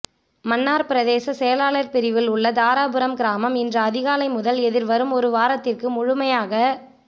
மன்னார் பிரதேசச் செயலாளர் பிரிவில் உள்ள தாராபுரம் கிராமம் இன்று அதிகாலை முதல் எதிர்வரும் ஒரு வாரத்திற்கு முழுமையாக